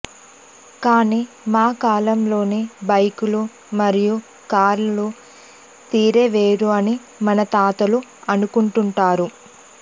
కాని మా కాలంలోని బైకులు మరియు కార్ల తీరే వేరు అని మన తాతలు అనుకుంటుంటారు